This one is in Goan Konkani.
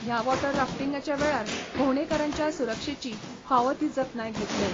ह्या वॉटर राफ्टींगाच्या वेळार भोंवडेकारांच्या सुरक्षेची फावो ती जतनाय घेतले.